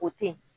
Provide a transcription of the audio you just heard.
O teyi